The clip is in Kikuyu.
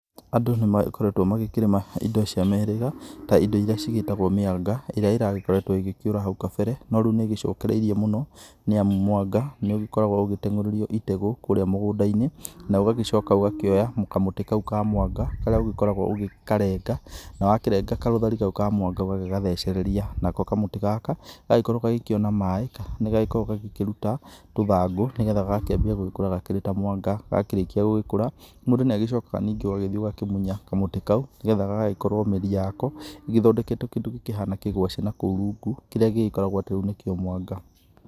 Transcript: Andũ nĩmagĩkoretwo magĩkĩrĩma indo cia mĩhĩrĩga ta indo iria cigĩtagwo mĩanga ĩrĩa iragĩkoretwo ĩgĩkĩũra hau kabere no rĩu nĩĩgĩcokereirie mũno nĩ amu mũanga nĩũgĩkoragwo ũgĩtegũrĩrio itegũ kũrĩa mũgũnda-inĩ na ũgagĩcoka ugakĩoya kamũtĩ kau ka mwanga karĩa ũgĩkoragwo ũgĩkarenga na wakĩrenga karũthari kau ka mwanga ũgathecereria. Nako kamũtĩ gaka gakorwo gagikiona maĩĩ nigagĩkoragwo gagĩkĩruta tũthangũ nĩgetha gagakĩambia gũkũra gakĩrĩ o ta mwanga, gakĩrĩkia gũgĩkura mũndũ nĩagĩcokaga ningĩ ũgathiĩ ũgakĩmunya kamũtĩ kau nĩgetha gagagĩkorwo mĩri yako ĩgĩkorwo igĩthondeketwo kindũ gĩkĩhaana kĩgwacĩ nakũu rungu kĩrĩa gĩgĩkoragwo atĩ rĩu nĩkio mwanga.